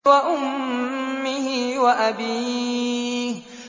وَأُمِّهِ وَأَبِيهِ